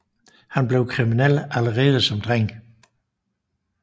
Han blev kriminel allerede som dreng